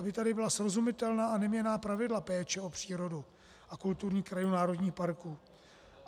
Aby tady byla srozumitelná a neměnná pravidla péče o přírodu a kulturní krajinu národních parků.